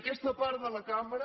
aquesta part de la cambra